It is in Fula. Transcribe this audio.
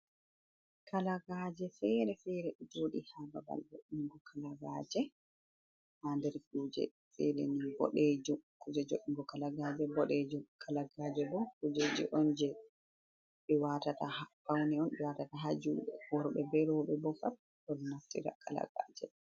Kalagaje fere fere. Ɗo joɗi ha babal voɗɗungo kalagaje. Ha nɗer kuje fere ni boɗejum. Kuje voungo kalagaje boɗejum. Kalagaje bo kuje je on je be watata faune on be watata ha juɗe. Worbe be robe bo fat ɗo naftira kalagaje.